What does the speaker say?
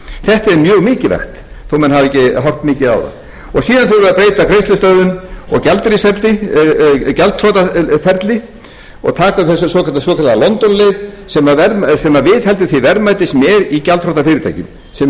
þetta er mjög mikilvægt þó menn hafi ekki horft mikið á það síðan þurfum við að breyta greiðslustöðvun og gjaldþrotaferli og taka upp þessa svokölluðu londonleið sem viðheldur því verðmæti sem er í gjaldþrota fyrirtækjum sem